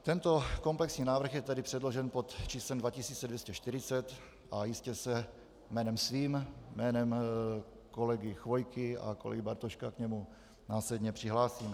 Tento komplexní návrh je tedy předložen pod číslem 2240 a jistě se jménem svým, jménem kolegy Chvojky a kolegy Bartoška k němu následně přihlásíme.